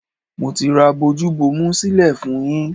Mo ti ra bojú bomu sílẹ̀ fún-un yín.